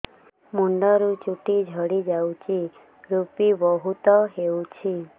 ମୁଣ୍ଡରୁ ଚୁଟି ଝଡି ଯାଉଛି ଋପି ବହୁତ ହେଉଛି